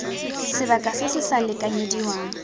sebaka se se sa lekanyediwang